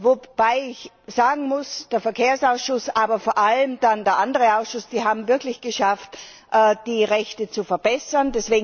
Wobei ich sagen muss, der Verkehrsausschuss, aber vor allem dann der andere Ausschuss, die haben es wirklich geschafft, die Rechte zu verbessern.